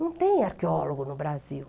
Não tem arqueólogo no Brasil.